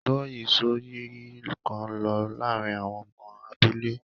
Gbọ́yìísọ̀yìí kan ń lọ láàárín àwọn ọmọ abúlé.